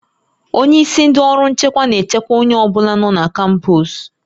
Onye isi ndị ọrụ nchekwa na-echekwa onye ọ bụla nọ na kampọs